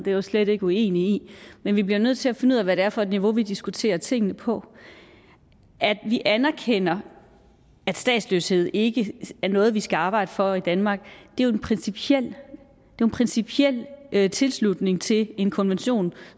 det er jeg slet ikke uenig i men vi bliver nødt til at finde ud af hvad det er for et niveau vi diskuterer tingene på at vi anerkender at statsløshed ikke er noget vi skal arbejde for i danmark er jo en principiel principiel tilslutning til en konvention